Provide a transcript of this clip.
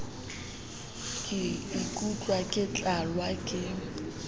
ka ikutlwa ke tlalwa ke